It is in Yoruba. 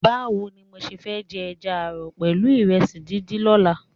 Báwo ni mo ṣe fẹ́ jẹ ẹja ààrọ̀ pẹ̀lú ìrẹsì díndín lọ́la?